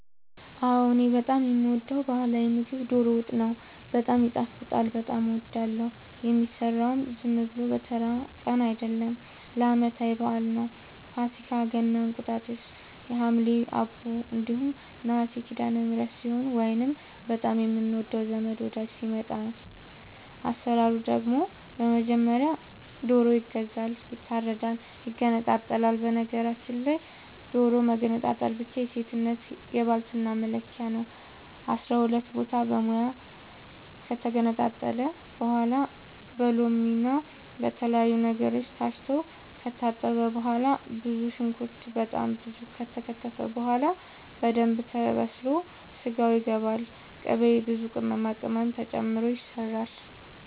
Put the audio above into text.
እኔ በጣም የምወደው በህላዊ ምግብ ዶሮ ወጥ ነው። በጣም ይጣፍጣል በጣም አወዳለሁ። የሚሰራውም ዝም ብሎ በተራ ቀን አይደለም ለአመታዊ በአል ነው። ፋሲካ ገና እንቁጣጣሽ ሀምሌ አቦ እንዲሁም ነሀሴ ሲዳለምህረት ሲሆን ወይንም በጣም የምንወደው ዘመድ ወዳጅ ሲመጣ። አሰራሩ ደግሞ በመጀመሪያ ዶሮ ይገዛል ይታረዳል ይገነጣጠላል በነገራችል ላይ ዶሮ መገንጠል መቻል የሴትነት የባልትና መለኪያ ነው። አስራሁለት ቦታ በሙያ ከተገነጣጠለ በኋላ በሎምና በተለያዩ ነገሮች ታስቶ ከታጠበ በኋላ ብዙ ሽንኩርት በጣም ብዙ ከተከተፈ በኋላ በደንብ ተበስሎ ስጋው ይገባል ቅቤ ብዙ ቅመማ ቅመም ተጨምሮ ይሰራል